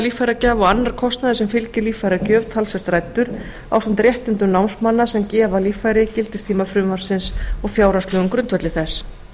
líffæragjafa og annar kostnaður sem fylgir líffæragjöf talsvert ræddur ásamt réttindum námsmanna sem gefa líffæri gildistíma frumvarpsins og fjárhagslegum grundvelli þess